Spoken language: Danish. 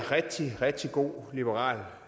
god liberal